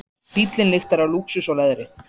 Bíllinn lyktar af lúxus og leðri.